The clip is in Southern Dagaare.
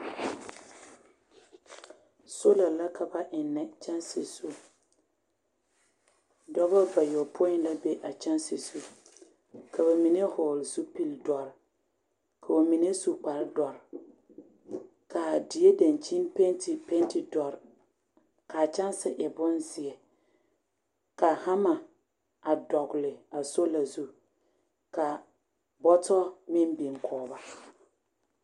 Soola la ka ba eŋnɛ kyaŋsi zu dɔba bayɔpoe la be a kyaŋsi zu ka ba mine vɔgle zupile dɔre ka ba mine su kpare dɔre kaa die daŋkyine panti panti dɔre kaa kyaŋsi e bonzeɛ ka hama dɔgle a soola zu ka bɔtɔ meŋ biŋ kɔŋ ba.